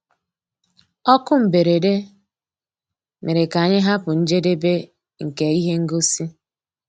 Ókú mbérèdé mérè ká ànyị́ hàpụ́ njédébè nkè íhé ngósì.